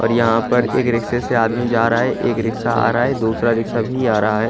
और यहाँ पर एक रिक्शे से आदमी जा रहा है एक रिक्शा आ रहा है दूसरा रिक्शा भी आ रहा है।